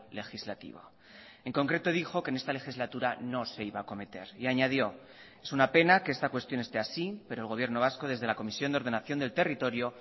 legislativo en concreto dijo que en esta legislatura no se iba a acometer y añadió es una pena que esta cuestión esté así pero el gobierno vasco desde la comisión de ordenación del territorio